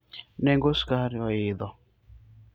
nengo skar oidho